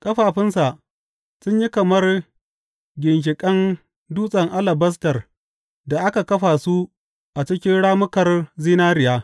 Ƙafafunsa sun yi kamar ginshiƙan dutsen alabastar da aka kafa su a cikin rammukar zinariya.